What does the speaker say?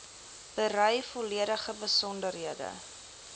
berei volledige besonderhede